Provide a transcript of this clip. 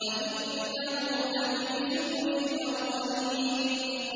وَإِنَّهُ لَفِي زُبُرِ الْأَوَّلِينَ